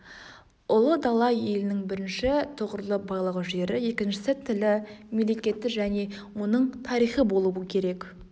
ұлы дала елінің бірінші тұғырлы байлығы жері екіншісі тілі мемлекеті және оның тарихы болуы керек